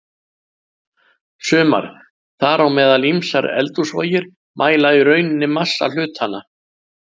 Sumar, þar á meðal ýmsar eldhúsvogir, mæla í rauninni massa hlutanna.